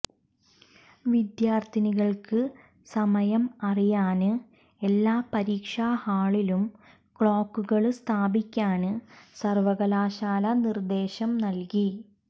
വിദ്യാര്ഥികള്ക്ക് സമയം അറിയാന് എല്ലാ പരീക്ഷാ ഹാളിലും ക്ളോക്കുകള് സ്ഥാപിക്കാന് സര്വ്വകലാശാല നിര്ദ്ദേശം നല്കി